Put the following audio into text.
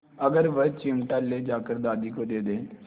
अगर वह चिमटा ले जाकर दादी को दे दे